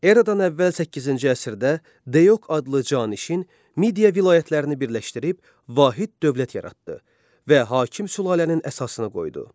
Eradan əvvəl 8-ci əsrdə Deyok adlı canişin Midiya vilayətlərini birləşdirib vahid dövlət yaratdı və hakim sülalənin əsasını qoydu.